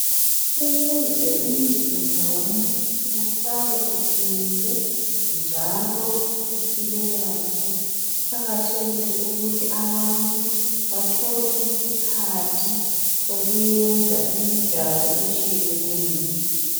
Ukuze umzimba womuntu uhlale uqinile njalo uphile kahle, kuqakathekile ukuthi abantu bathole isikhathi sokwenza imidlalo etshiyeneyo.